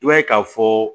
I b'a ye k'a fɔ